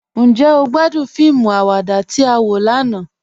Njẹ́ o gbàdún fíìmù àwàdà tí a wọ lànà?